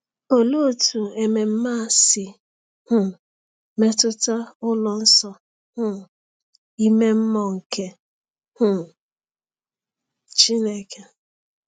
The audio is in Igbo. Olee otú ememe a si um metụta ụlọ nsọ um ime mmụọ nke um Chineke?